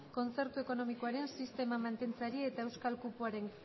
kontzertu ekonomikoaren sistema mantentzeari eta euskal kupoaren